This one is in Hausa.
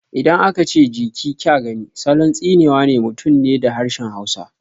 Idan aka ce "Je ki kya gani" salon tsine wa mutum ne da harshen hausa